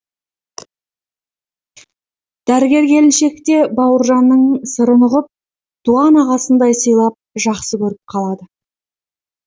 дәрігер келіншек те бауыржанның сырын ұғып туған ағасындай сыйлап жақсы көріп қалады